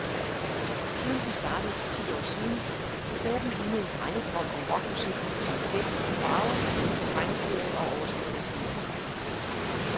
Siden de startede for ti år siden, har gruppen lignet en drengedrøm om rockmusik som fest og farver, tegneserie og overstadigt humør.